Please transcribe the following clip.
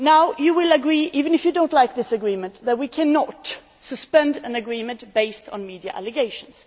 You will agree even if you do not like this agreement that we cannot suspend an agreement on the basis of media allegations.